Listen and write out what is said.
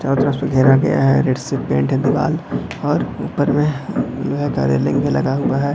और तरफ से घेरा गया हैरेड से पेंट है दीवार और ऊपर में लोहे का रेलिंग भी लगा हुआ है।